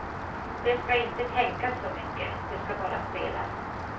Det ska inte tänkas så mycket, det ska bara spelas.